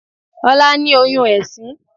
Ọlá ní oyún ẹ̀sín